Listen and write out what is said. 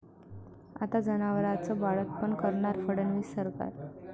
आता जनावरांचं बाळंतपण करणार फडणवीस सरकार